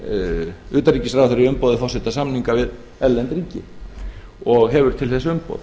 gerir utanríkisráðherra í umboði forseta samninga við erlend ríki og hefur til þess umboð